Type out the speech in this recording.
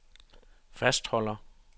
fastholder